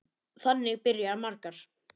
Þannig byrja margar.